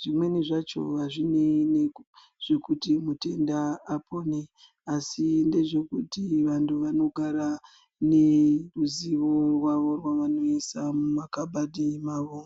zvimweni zvacho hazvinei nezvekuti mutenda apone asi ndezvekuti vanhu vanogara neruzivo rwavo rwavanoisa mumakhabuadhi avo